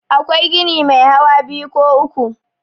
akwai gini Mai hawa biyu ko uku